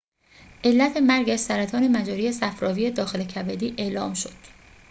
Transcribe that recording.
علت مرگش سرطان مجرای صفراوی داخل کبدی اعلام شد